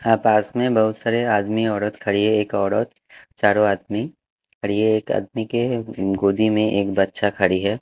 आ पास में बहुत सारे आदमी औरत खड़ी है एक औरत चारों आदमी खड़ी है एक आदमी के गोदी में एक बच्चा खड़ी है।